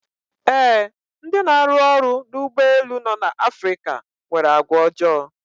Ee, ndị na-arụ ọrụ n'ụgbọ elu no n'Afrika nwere àgwàọjọọ.